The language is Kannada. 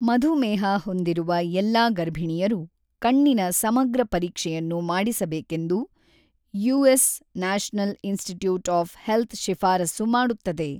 ಮಧುಮೇಹ ಹೊಂದಿರುವ ಎಲ್ಲಾ ಗರ್ಭಿಣಿಯರು ಕಣ್ಣಿನ ಸಮಗ್ರ ಪರೀಕ್ಷೆಯನ್ನು ಮಾಡಿಸಬೇಕೆಂದು US National Institute of Health ಶಿಫಾರಸು ಮಾಡುತ್ತದೆ.